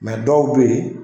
dɔw bɛ ye.